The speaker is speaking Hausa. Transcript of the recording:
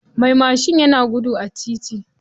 Mai mashin yana gudu a titi.